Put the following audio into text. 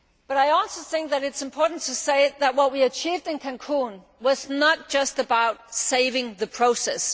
I also think that it is important to say that what we achieved in Cancún was not just about saving the process.